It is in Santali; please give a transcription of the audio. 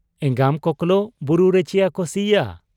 ᱮᱸᱜᱟᱢ ᱠᱚᱠᱞᱚ ᱵᱩᱨᱩ ᱨᱮᱪᱤᱭᱟᱠᱚ ᱥᱤᱭᱟ ?'